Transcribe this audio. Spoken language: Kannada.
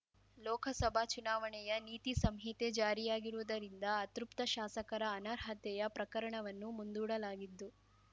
ಲೋಕಸಭಾ ಚುನಾವಣೆಯ ನೀತಿ ಸಂಹಿತೆ ಜಾರಿಯಾಗಿರುವುದರಿಂದ ಅತೃಪ್ತ ಶಾಸಕರ ಅನರ್ಹತೆಯ ಪ್ರಕರಣವನ್ನು ಮುಂದೂಡಲಾಗಿತ್ತು